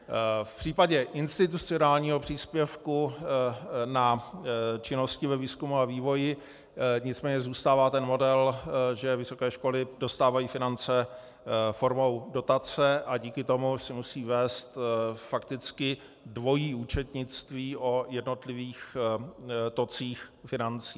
V případě institucionálního příspěvku na činnosti ve výzkumu a vývoji nicméně zůstává ten model, že vysoké školy dostávají finance formou dotace a díky tomu si musí vést fakticky dvojí účetnictví o jednotlivých tocích financí.